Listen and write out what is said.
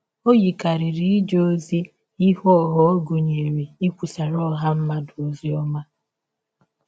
Ọ yikarịrị ka ije ọzi ka ije ọzi ihụ ọha a ọ̀ gụnyere ikwụsara ọha mmadụ ọzi ọma.